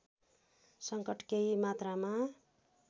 संकट केही मात्रामा